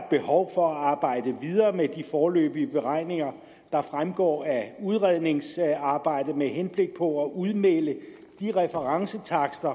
behov for at arbejde videre med de foreløbige beregninger der fremgår af udredningsarbejdet med henblik på at udmelde de referencetakster